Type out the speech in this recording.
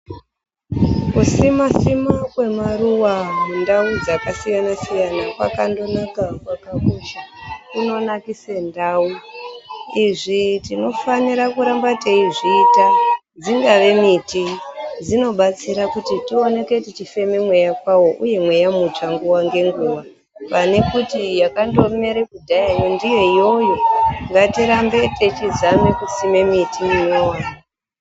Ku sima sima kwe maruva mundau dzaka siyana kwakando kwaka kosha kuno nakise ndau izvi tino fanira kuramba tei zviita dzingave miti dzino batsira kuti tioneke tichi feme mweya kwawo uye mweya mutsva nguva nge nguva pane kuti yakando mere kudhaya yo ndiyo iyoyo ngati rambe techi zame kusime miti inyowani.